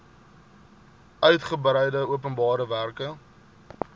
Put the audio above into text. uigebreide openbare werke